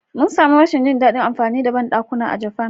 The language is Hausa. Mun sami rashin jin daɗin amfani da bandakuna a Japan.